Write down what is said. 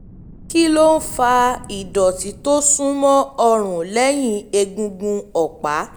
kí um ló ń fa um ìdọ̀tí tó súnmọ́ ọrùn lẹ́yìn um egungun ọ̀pá?